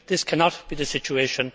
This cannot be the situation.